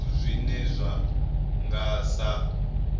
zwithu zwine zwa nga sa